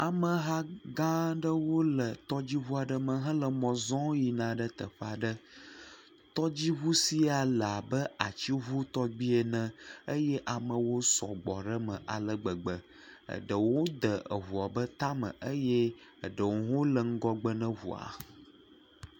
Ameha gã aɖewo le tɔdziŋu aɖe me hele mɔ zɔm yina ɖe teƒe aɖe. Tɔdziŋu sia le abe atsiŋu tɔgbi ene eye amewo sɔgbɔ ɖe eme ale gbegbe. Eɖewo de eŋua be tame eye eɖewo hã le ŋgɔgbe ne ŋua.